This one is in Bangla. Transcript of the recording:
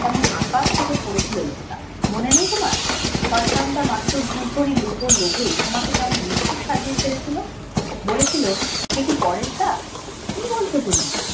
কেমন আকাশ থেকে পড়েছিল লোকটা মনে নেই তোমার শয়তানটা মাত্র দুভরি রুপোর লোভে তোমাকে কিরকম মিথ্যুক সাজিয়ে ছেড়ে ছিল বলেছিল কি বলছো তুমি